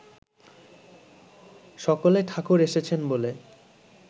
সকলে ‘ঠাকুর এসেছেন’ বলে